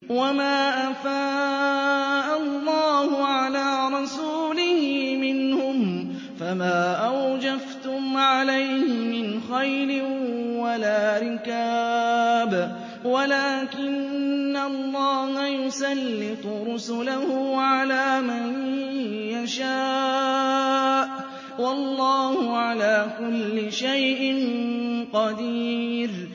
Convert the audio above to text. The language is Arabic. وَمَا أَفَاءَ اللَّهُ عَلَىٰ رَسُولِهِ مِنْهُمْ فَمَا أَوْجَفْتُمْ عَلَيْهِ مِنْ خَيْلٍ وَلَا رِكَابٍ وَلَٰكِنَّ اللَّهَ يُسَلِّطُ رُسُلَهُ عَلَىٰ مَن يَشَاءُ ۚ وَاللَّهُ عَلَىٰ كُلِّ شَيْءٍ قَدِيرٌ